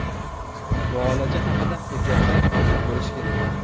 Muolaja haqida hujjatlar mavjud bo‘lishi kerak.